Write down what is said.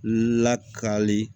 Lakali